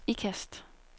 Ikast